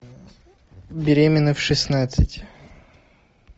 беременна в шестнадцать